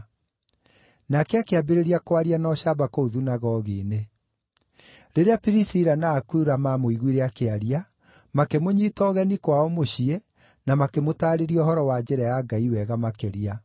Nake akĩambĩrĩria kwaria na ũcamba kũu thunagogi-inĩ. Rĩrĩa Pirisila na Akula maamũiguire akĩaria, makĩmũnyiita ũgeni kwao mũciĩ na makĩmũtaarĩria ũhoro wa njĩra ya Ngai wega makĩria.